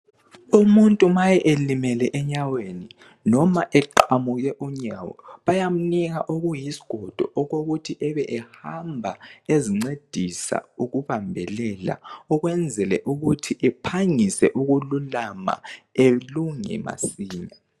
Umuntu nxa elimele enyaweni loba eqamukile bayamnika okuyisigodo okokuthi ebe ehamba ezincedisa ukumbelela ukwenzela ukuthi ephangise ukululama elunge masinya